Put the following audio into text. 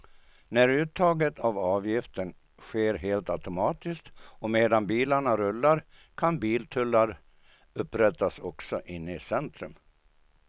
När uttaget av avgiften sker helt automatiskt och medan bilarna rullar kan biltullar upprättas också inne i centrum.